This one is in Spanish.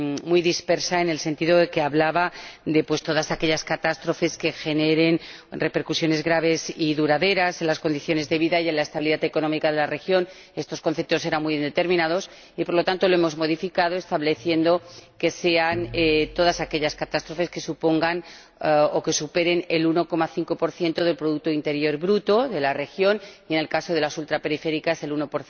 muy poco claro, en el sentido de que hablaba de todas aquellas catástrofes que generen repercusiones graves y duraderas en las condiciones de vida y en la estabilidad económica de la región. Estos conceptos eran muy indeterminados y, por lo tanto, los hemos modificado estableciendo que sean todas aquellas catástrofes que supongan o que superen el 1,5 del producto interior bruto de la región y, en el caso de las regiones ultraperiféricas, el 1.